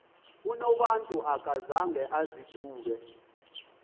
unobantu akazanga azidube